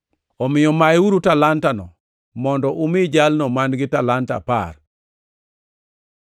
“ ‘Omiyo mayeuru talanta-no mondo umi jalno man-gi talanta apar.